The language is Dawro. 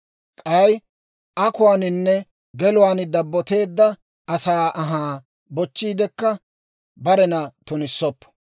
K'ay akuwaaninne geluwaan dabboteedda asaa anhaa bochchiidekka barena tunissoppo.